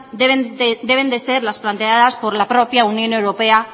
deben de ser las planteadas por la propia unión europea